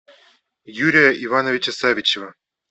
юрия ивановича савичева